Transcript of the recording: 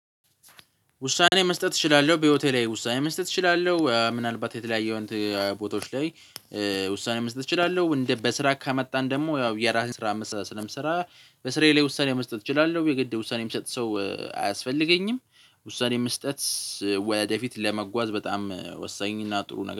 ውሳኔ መስጠት እችላለሁ በህይወቴ ላይ ውሳኔ መስጠት እችላለሁ ምናልባት የተለያየውን ቦታዎች ላይ ውሳኔ መስጠት እችላለሁ። እንደ በስራ ከመጣን ደግሞ ያው የራሴን ስራ ስለምሰራ በስራዬ ላይ ውሳኔ መስጠት እችላለሁ የግድ ውሳኔ የሚሰጥ ሰው አያስፈልገኝም። ውሳኔ መስጠት። ወደፊት ለመጓዝ በጣም ወሳኝ እና ጥሩ ነገር